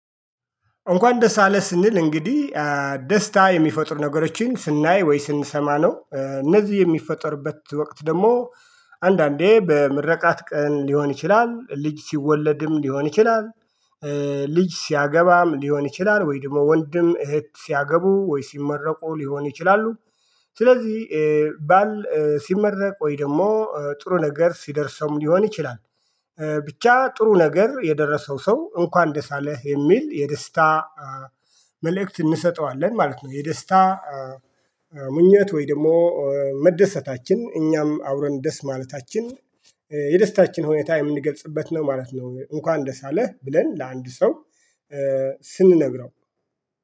እንኳን ደስ አለ ስንል እንግዲህ ደስታ የሚፈጥሩ ነገሮችን ስናይ ወይ ስንሰማ ነው እነዚህ የሚፈጠሩበት ወቅት ደግሞ አንዳንዴ በምረቃት ቀን ሊሆን ይችላል ልጅ ሲወለድም ሊሆን ይችላል። ልጅ ሲያገባም ሊሆን ይችላል ወይም ደግሞ ወንድም እህት ሲያገቡ ወይ ሲመረቁ ሊሆን ይችላሉ። ስለዚህ ባል ሲመረቅ ወይ ደግሞ ጥሩ ነገር ሲደርሰውም ሊሆን ይችላል። ብቻ ጥሩ ነገር የደረሰው ሰው እንኳን ደስ አለህ የሚል የደስታ መልእክት እንሰጠዋለን ማለት ነው። የደስታ ምኞት ወይ ደግሞ መደሰታችን እኛም አብረን ደስ ማለታችን የደስታችን ሁኔታ የምንገልጽበት ነው ማለት ነው። እንኳን ደስ አለህ ብለን ለአንድ ሰው ስንነግረው